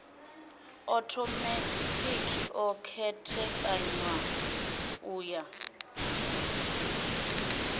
othomethikhi o khethekanywa u ya